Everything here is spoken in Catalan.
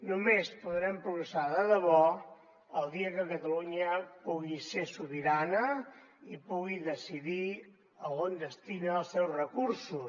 només podrem progressar de debò el dia que catalunya pugui ser sobirana i pugui decidir a on destina els seus recursos